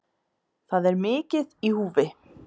Það er mikið í húfi